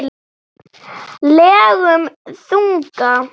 legum þunga.